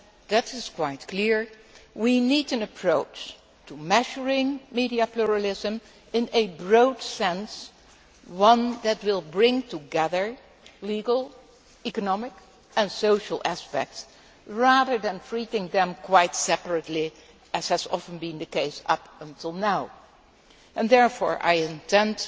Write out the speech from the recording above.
It is quite clear that we need an approach to measuring media pluralism in a broad sense one that will bring together legal, economic and social aspects, rather than treating them quite separately, as has often been the case up until now. Therefore, I intend